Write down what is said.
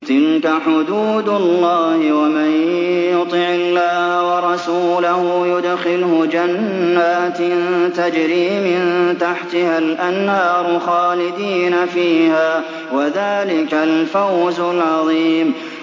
تِلْكَ حُدُودُ اللَّهِ ۚ وَمَن يُطِعِ اللَّهَ وَرَسُولَهُ يُدْخِلْهُ جَنَّاتٍ تَجْرِي مِن تَحْتِهَا الْأَنْهَارُ خَالِدِينَ فِيهَا ۚ وَذَٰلِكَ الْفَوْزُ الْعَظِيمُ